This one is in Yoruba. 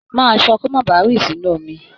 Máa ṣọ́, kó má ba rì sínú omi.